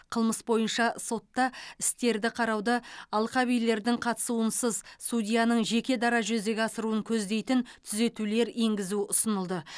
қылмыс бойынша сотта істерді қарауды алқабилердің қатысуынсыз судьяның жеке дара жүзеге асыруын көздейтін түзетулер енгізу ұсынылды